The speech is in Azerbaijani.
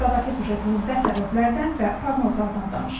Sıradakı süjetimizdə səbəblərdən və proqnozlardan danışırıq.